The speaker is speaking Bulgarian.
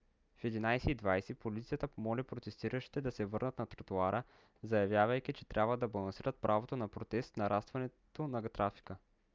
в 11: 20 полицията помоли протестиращите да се върнат на тротоара заявявайки че трябва да балансират правото на протест с нарастването на трафика